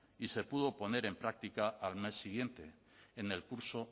y se pudo poner en práctica al mes siguiente en el curso